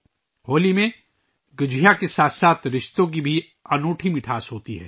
ہولی میں گجیا کے ساتھ ساتھ رشتوں کی انوکھی مٹھاس بھی ہوتی ہے